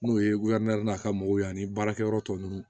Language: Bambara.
N'o ye n'a ka mɔgɔw ye ani baarakɛyɔrɔ tɔ nunnu